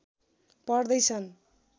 पढ्दै छन्